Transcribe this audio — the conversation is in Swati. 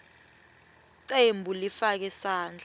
cembu lifake sandla